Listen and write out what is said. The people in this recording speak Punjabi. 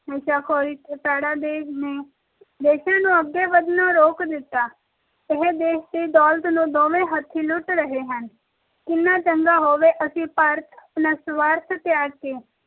ਨਸ਼ਾਖੋਰੀ ਆਦਿ ਇਹਨਾਂ ਨੇ ਦੇਸ਼ਾਂ ਨੂੰ ਅੱਗੇ ਵਧਣੋਂ ਰੋਕ ਦਿੱਤਾ ਇਹ ਦੇਸ਼ ਦੀ ਦੌਲਤ ਨੂੰ ਦੋਵੇ ਹਥਿ ਲੁੱਟ ਕਰੋ ਕਿੰਨਾ ਚੰਗਾ ਹੋਵੇ ਜੇ ਭਾਰਤ ਅਸੀਂ ਆਪਣਾ ਸਵਾਰਥ ਛੱਡ ਕੇ